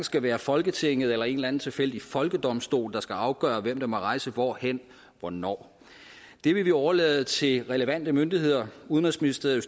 skal være folketinget eller en eller anden tilfældig folkedomstol der skal afgøre hvem der må rejse hvorhen hvornår det vil vi overlade til relevante myndigheder udenrigsministeriet